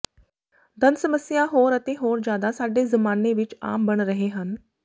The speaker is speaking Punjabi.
ਦੰਦ ਸਮੱਸਿਆ ਹੋਰ ਅਤੇ ਹੋਰ ਜਿਆਦਾ ਸਾਡੇ ਜ਼ਮਾਨੇ ਵਿਚ ਆਮ ਬਣ ਰਹੇ ਹਨ